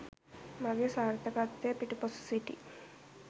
මාගේ සාර්ථකත්වය පිටුපස සිටි